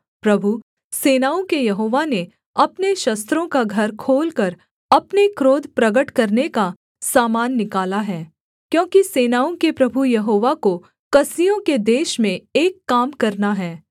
प्रभु सेनाओं के यहोवा ने अपने शस्त्रों का घर खोलकर अपने क्रोध प्रगट करने का सामान निकाला है क्योंकि सेनाओं के प्रभु यहोवा को कसदियों के देश में एक काम करना है